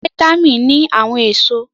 Vítámì ní àwọn èso